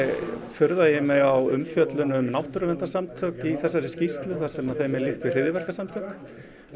furða ég mig á umfjöllun um náttúruverndarsamtök í þessari skýrslu þar sem þeim er líkt við hryðjuverkasamtök